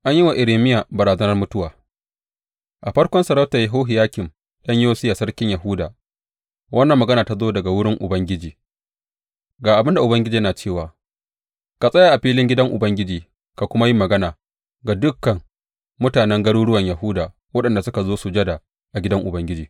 An yi wa Irmiya barazanar mutuwa A farkon sarautar Yehohiyakim ɗan Yosiya sarkin Yahuda, wannan magana ta zo daga wurin Ubangiji, Ga abin da Ubangiji yana cewa, ka tsaya a filin gidan Ubangiji ka kuma yi magana ga dukan mutanen garuruwan Yahuda waɗanda suka zo sujada a gidan Ubangiji.